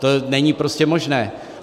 To není prostě možné.